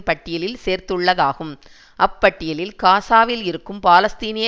பட்டியலில் சேர்த்துள்ளதாகும் அப்பட்டியலில் காசாவில் இருக்கும் பாலஸ்தீனிய